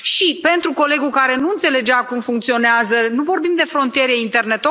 Iar, pentru colegul care nu înțelegea cum funcționează, nu vorbim de frontiere interne.